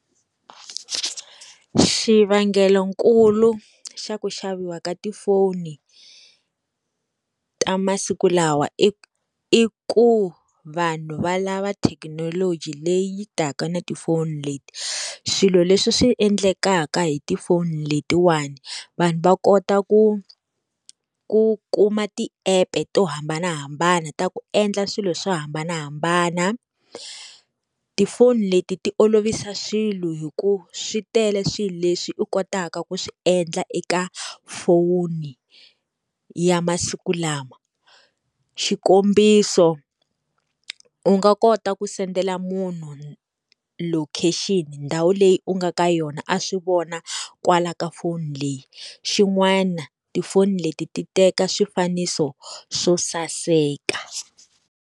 Xivangelonkulu xa ku xaviwa ka tifoni, ta masiku lawa i i ku vanhu va lava thekinoloji leyi yi taka na tifoni leti. Swilo leswi swi endlekaka hi tifoni letiwani, vanhu va kota ku ku kuma ti-app to hambanahambana ta ku endla swilo swo hambanahambana. Tifoni leti ti olovisa swilo hikuva swi tele swilo leswi u kotaka ku swi endla eka foni ya masiku lama. Xikombiso, u nga kota ku sendela munhu location-i ndhawu leyi u nga ka yona a swi vona kwala ka foni leyi. Xin'wana tifoni leti ti teka swifaniso swo saseka.